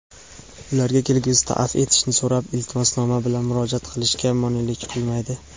ularga kelgusida afv etishni so‘rab iltimosnoma bilan murojaat qilishga monelik qilmaydi.